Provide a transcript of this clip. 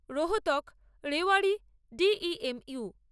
Rohtak Rewari D E M you